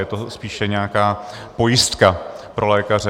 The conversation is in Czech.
Je to spíše nějaká pojistka pro lékaře.